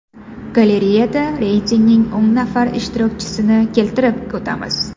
Galereyada reytingning o‘n nafar ishtirokchisini keltirib o‘tamiz.